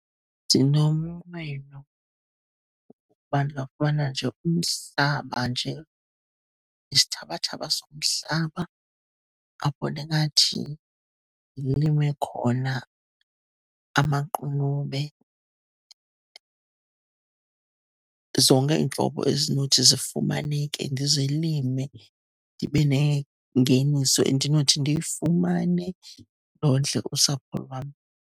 Ndinomnqweno woba ndingafumana nje umhlaba nje, isithabathaba somhlaba apho ndingathi ndilime khona amaqunube zonke iintlobo ezinothi zifumaneke ndizilime. Ndibe nengeniso endinothi ndiyifumane, ndondle usapho lwam.